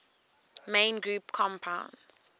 main group compounds